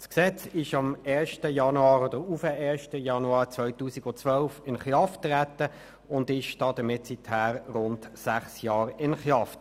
Das Gesetz ist am 1. Januar 2012 in Kraft getreten und ist somit seit rund sechs Jahren in Kraft.